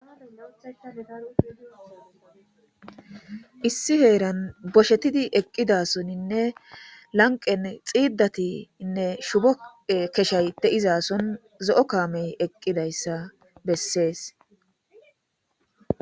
Issi heeran boshetidi eqqidasoninne lanqqen xiiddatinne shubo keshay de7izason zo7o kaamey eqqidayssa bessees.